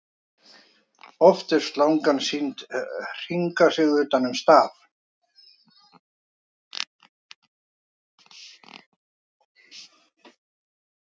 oft er slangan sýnd hringa sig utan um staf